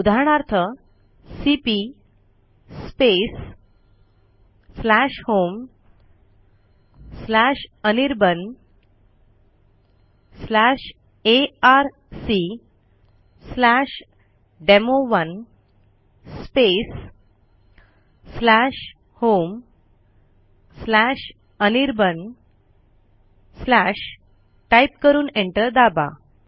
उदाहरणार्थ cp homeanirbanarcdemo1 homeanirban type करून enter दाबा